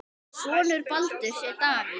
Sonur Baldurs er Davíð.